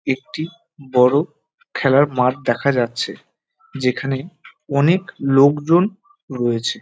একটি বড় খেলার মাঠ দেখা যাচ্ছে। যেখানে অনেক লোকজন রয়েছে ।